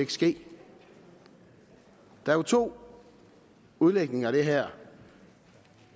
ske der er jo to udlægninger af det her